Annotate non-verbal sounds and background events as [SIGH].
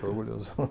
Estou orgulhoso. [LAUGHS]